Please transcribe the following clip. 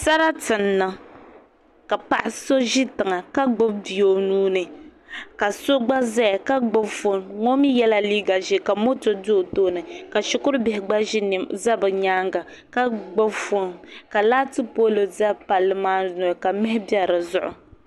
Sarati n niŋ ka paɣa so ʒi tiŋa ka gbubi bia o nuuni ka so gba ƶɛya ka gbubi foon o mii yɛla liiga ʒiɛ ka moto do o tooni ka shikuru bihi gba ʒɛ bi nyaanga ka gbubi foon ka laati pool ʒɛ palli maa noli ka mihi bɛ dizuɣu